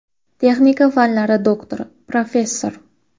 Texnika fanlari doktori, professor.